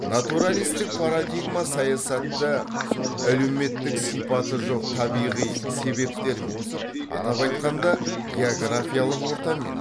натуралистік парадигма саясатты әлеуметтік сипаты жоқ табиғи себептермен атап айтқанда географиялық ортамен